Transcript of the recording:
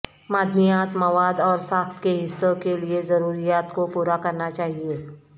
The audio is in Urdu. معدنیات مواد اور ساخت کے حصوں کے لئے ضروریات کو پورا کرنا چاہئے